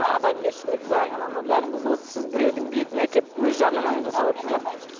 адамгершілік заң анау мынау бәрін бұзып отырсыз сіз біреудің бетін әкеліп өз жарнамаңызды жасап отырсыз да